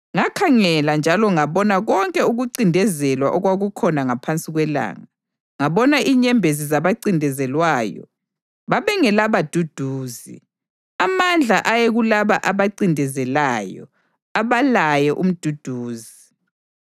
Ngakhangela njalo ngabona konke ukuncindezelwa okwakukhona ngaphansi kwelanga: Ngabona inyembezi zabancindezelwayo babengelabaduduzi; amandla ayekulaba abancindezelayo abalaye umduduzi.